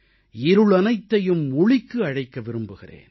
இருளனைத்தையும் ஒளிக்கு அழைக்க விரும்புகிறேன்